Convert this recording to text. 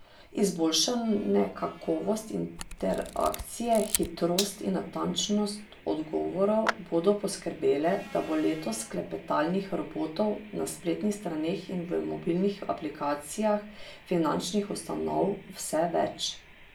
Izboljšane kakovost interakcije, hitrost in natančnost odgovorov bodo poskrbele, da bo letos klepetalnih robotov na spletnih straneh in v mobilnih aplikacijah finančnih ustanov vse več.